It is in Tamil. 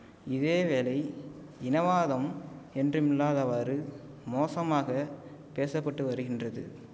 இதேவேளை இனவாதம் என்றுமில்லாதவாறு மோசமாக பேச பட்டு வருகின்றது